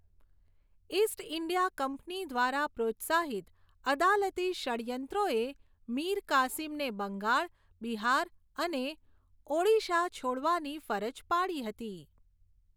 East India company દ્વારા પ્રોત્સાહિત અદાલતી ષડ્યંત્રોએ મીર કાસિમને બંગાળ, બિહાર અને ઓડિશા છોડવાની ફરજ પાડી હતી.